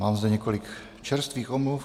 Mám zde několik čerstvých omluv.